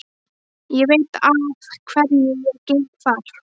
Ég veit að hverju ég geng þar.